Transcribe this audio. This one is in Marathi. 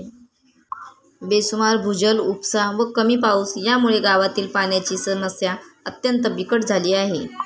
बेसुमार भूजल उपसा व कमी पाऊस यामुळे गावातील पाण्याची समस्या अत्यंत बिकट झाली आहे.